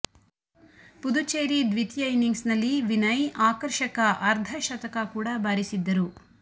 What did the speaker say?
ಪುದುಚೇರಿ ದ್ವಿತೀಯ ಇನ್ನಿಂಗ್ಸ್ನಲ್ಲಿ ವಿನಯ್ ಆಕರ್ಷಕ ಅರ್ಧ ಶತಕ ಕೂಡ ಬಾರಿಸಿದ್ದರು